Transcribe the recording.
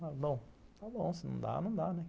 Bom, está bom, se não dá, não dá, né?